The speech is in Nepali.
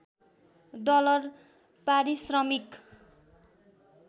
डलर पारिश्रमिक